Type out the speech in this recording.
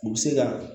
U bɛ se ka